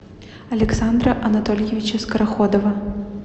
александра анатольевича скороходова